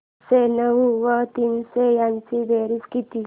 आठशे नऊ व तीनशे यांची बेरीज किती